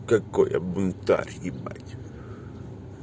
какой я бунтарь ебать